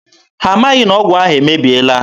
Ha amaghị na ọgwụ ahụ emebiela.